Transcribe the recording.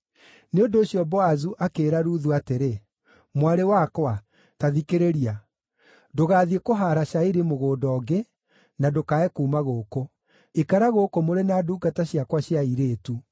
Nĩ ũndũ ũcio Boazu akĩĩra Ruthu atĩrĩ, “Mwarĩ wakwa, ta thikĩrĩria, ndũgathiĩ kũhaara cairi mũgũnda ũngĩ, na ndũkae kuuma gũkũ. Ikara gũkũ mũrĩ na ndungata ciakwa cia airĩtu.